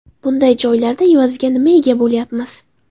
Bunday joylarda evaziga nimaga ega bo‘lyapmiz?